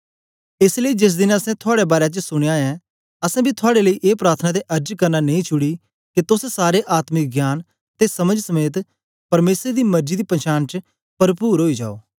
एस लेई जेस देन असैं थुआड़े बारै च सुनया ऐ असैं बी थुआड़े लेई ए प्रार्थना ते अर्ज करना नेई छुड़ी के तोस सारे आत्मिक ज्ञान ते समझ समेत परमेसर दी मरजी दी पंछान च परपुर ओई जाओ